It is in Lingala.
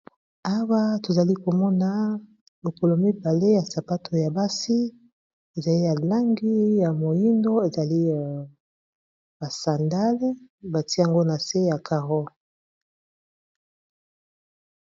awa tozali komona lokolo mibale ya sapato ya basi ezali yalangi ya moindo ezali basandale batiango na se ya caro